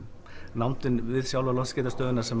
nándin við sjálfa loftskeytastöðina sem